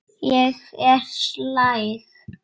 Ég er slæg.